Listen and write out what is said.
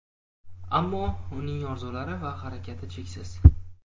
ammo uning orzulari va harakati cheksiz.